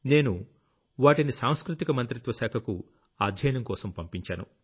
నేను వాటిని సాంస్కృతిక మంత్రిత్వ శాఖకు అధ్యయనంకోసం పంపించాను